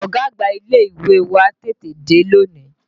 Ọ̀gá àgbà ilé ìwé wa tètè dé lónìí